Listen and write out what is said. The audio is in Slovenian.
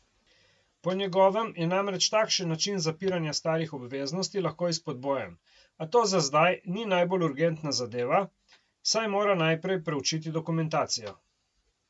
Po njegovem je namreč takšen način zapiranja starih obveznosti lahko izpodbojen, a to za zdaj ni najbolj urgentna zadeva, saj mora najprej preučiti dokumentacijo.